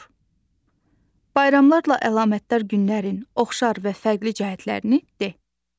Bayramlarla əlamətdar günlərin oxşar və fərqli cəhətlərini de.